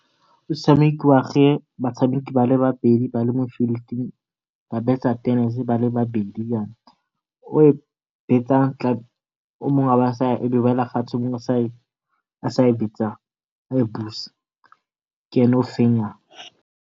E tshamekiwa ge batshameki ba babedi ba le mo field-ing ba betsa tenese ba le ba bedi jana. O e betsa o mongwe e be e wela fatshe o mongwe a sa e betsang a e buse ke ene o fenyang.